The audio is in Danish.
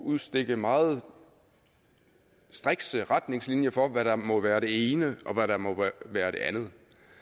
udstikke meget strikse retningslinjer for hvad der må være det ene og hvad der må være det andet